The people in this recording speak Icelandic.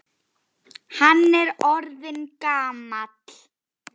Hvað er hann orðinn gamall?